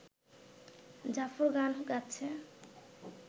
জাফর গান গাচ্ছে